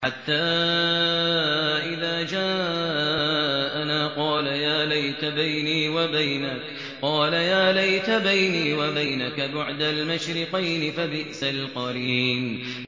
حَتَّىٰ إِذَا جَاءَنَا قَالَ يَا لَيْتَ بَيْنِي وَبَيْنَكَ بُعْدَ الْمَشْرِقَيْنِ فَبِئْسَ الْقَرِينُ